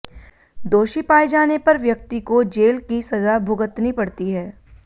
दोषी पाए जाने पर व्यक्ति को जेल की सजा भुगतनी पड़ती है